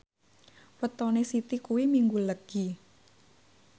wetone Siti kuwi Minggu Legi